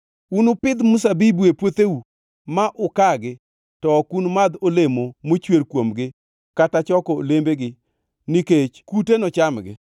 Unupidh mzabibu e puotheu ma ukagi to ok unumadh olemo mochwer kuomgi kata choko olembgigo nikech kute nochamgi.